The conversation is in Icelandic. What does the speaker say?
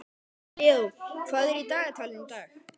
Leó, hvað er í dagatalinu í dag?